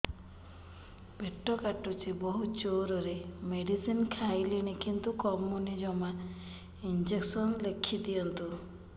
ପେଟ କାଟୁଛି ବହୁତ ଜୋରରେ ମେଡିସିନ ଖାଇଲିଣି କିନ୍ତୁ କମୁନି ଜମା ଇଂଜେକସନ ଲେଖିଦିଅନ୍ତୁ